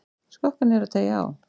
Skokka niður og teygja á.